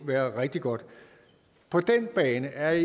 være rigtig godt på den bane er